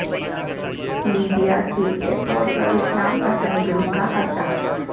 Libya کے airport پر اسلام پسند گروپ کا قبضہ